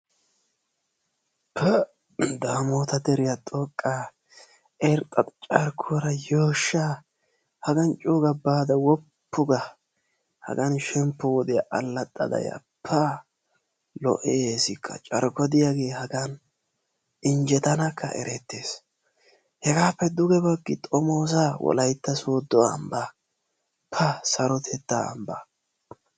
pa daamota deriya xoqqaa irxxa carkkuwaara yooshshaa hagan co'uga baada woppuga hagan shemppo wodiyaa alaxxada ya pa lo'eesikka carkko diyagee hagan injjetanakka eretees, hegaappe duge bagi xomoosa wolaytta soodo ambaa pa sarotettaa ambaa